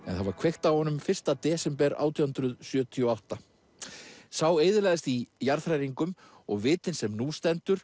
það var kveikt á honum fyrsta desember átján hundruð sjötíu og átta sá eyðilagðist í jarðhræringum og vitinn sem nú stendur